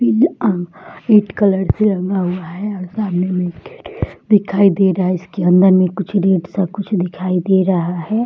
पीला red colour से रंगा हुआ है और सामने में एक गेट दिखाई दे रहा है इसके अंदर में कुछ रेड सा कुछ दिखाई दे रहा है।